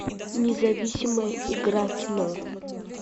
независимая игра кино